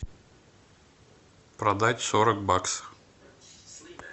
продать сорок баксов